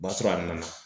O b'a sɔrɔ a nana